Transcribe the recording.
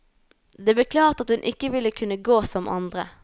Det ble klart at hun ikke ville kunne gå som andre.